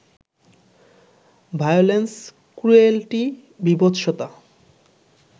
violence, cruelty, বীভৎসতা